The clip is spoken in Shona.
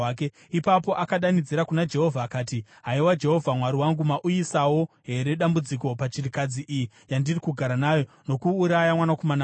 Ipapo akadanidzira kuna Jehovha akati, “Haiwa, Jehovha Mwari wangu, mauyisawo here dambudziko pachirikadzi iyi yandiri kugara nayo, nokuuraya mwanakomana wayo?”